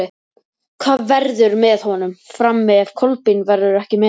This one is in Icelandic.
Hver verður með honum frammi ef Kolbeinn verður ekki með?